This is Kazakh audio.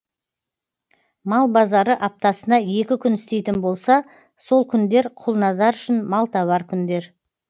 мал базары аптасына екі күн істейтін болса сол күндер құлназар үшін малтабар күндер